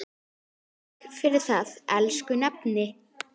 Takk fyrir það, elsku nafni.